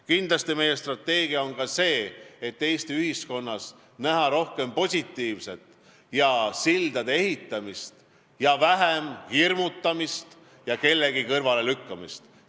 Kindlasti on meie strateegia ka see, et Eesti ühiskonnas tuleb näha rohkem positiivset ja sildade ehitamist ning vähem hirmutamist ja kellegi kõrvalelükkamist.